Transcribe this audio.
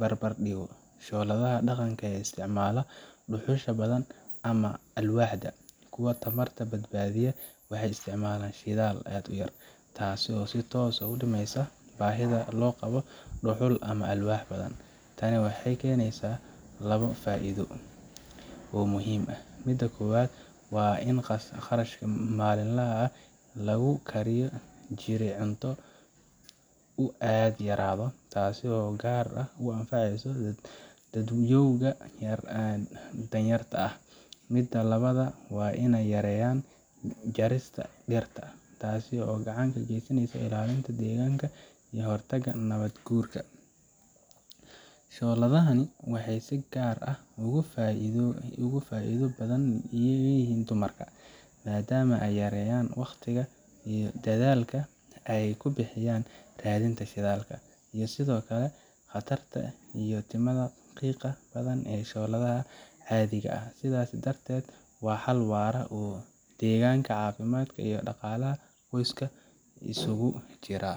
barbardhigo shooladaha dhaqanka ee isticmaala dhuxusha badan ama alwaaxda, kuwa tamarta badbaadiya waxay isticmaalaan shidaal aad u yar, taasoo si toos ah u dhimaysa baahida loo qabo dhuxul ama alwaax badan. Tani waxay keenaysaa labo faa’iido oo muhiim ah: midda koowaad waa in kharashka maalinlaha ah ee lagu kari jiray cunto uu aad u yaraado, taasoo si gaar ah u anfacaysa dadyowga danyarta ah. Midda labaadna waa in ay yareeyaan jarista dhirta, taas oo gacan ka geysanaysa ilaalinta deegaanka iyo ka hortagga nabaad guurka. Shooladahani waxay si gaar ah ugu faa’iido badan yihiin dumarka, maadaama ay yareeyaan wakhtiga iyo dadaalka ay ku bixiyaan raadinta shidaal, iyo sidoo kale khatarta ka timaadda qiiqa badan ee shooladaha caadiga ah. Sidaas darteed, waa xal waara oo deegaanka, caafimaadka iyo dhaqaalaha qoyska isugu jira.